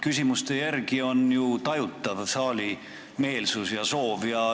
Küsimuste järgi on ju tajutav saali meelsus ja soov.